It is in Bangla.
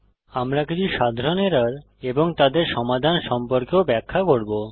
আমরা কিছু সাধারণ এরর এবং তাদের সমাধান সম্পর্কেও ব্যাখ্যা করব